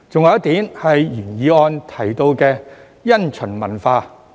還有一點是原議案提到的因循文化。